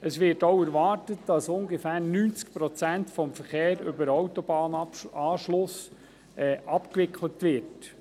Es wird auch erwartet, dass rund 90 Prozent des Verkehrs über den Autobahnanschluss abgewickelt wird.